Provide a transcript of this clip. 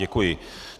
Děkuji.